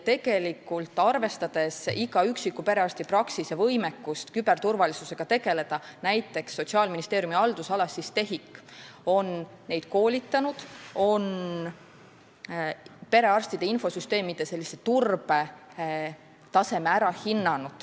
Tegelikult, arvestades iga üksiku perearstipraksise võimekust küberturvalisusega tegeleda, on Sotsiaalministeeriumi haldusalas TEHIK neid koolitanud ja perearstide infosüsteemide turbetaseme ära hinnanud.